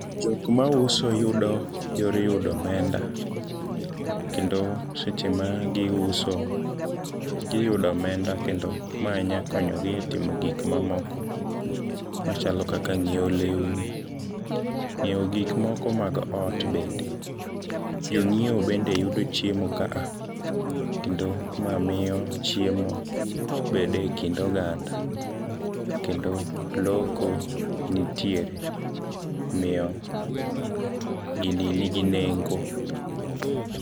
Jok mauso yudo yor yudo omenda, kendo seche magiuso giyudo omenda kendo mae nyakonyogi e timo gikmamoko machalo kaka nyieo leuni, nyieo gikmoko mag ot bende. Jong'ieo bende yudo chiemo kaa, kendo mamiyo chiemo bede kind oganda kendo loko nitiere miyo gini nigi nengo.